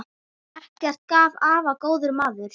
Eggert afi var góður maður.